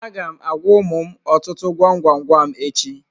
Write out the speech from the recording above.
Aga m agwa ụmụ m ọtụtụ gwam gwam gwam echi.